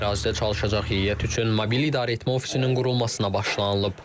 Ərazidə çalışacaq heyət üçün mobil idarəetmə ofisinin qurulmasına başlanılıb.